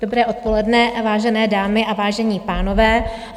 Dobré odpoledne, vážené dámy a vážení pánové.